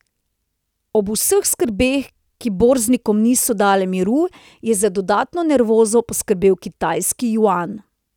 Ob vseh skrbeh, ki borznikom niso dale miru, je za dodatno nervozo poskrbel kitajski juan.